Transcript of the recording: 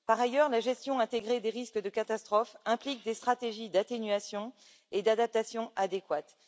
Par ailleurs, la gestion intégrée des risques de catastrophe implique des stratégies d'atténuation et d'adaptation adéquates.